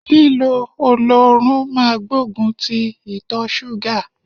Lílo oloorun máa gbógun ti ìtọ ṣúgà.